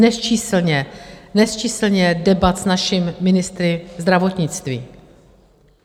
Nesčíslně debat s našimi ministry zdravotnictví.